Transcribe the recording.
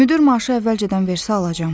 Müdir maaşı əvvəlcədən versə alacam.